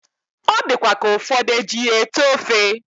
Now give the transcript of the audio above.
Odikwa ka ufodu ejiya ete ofe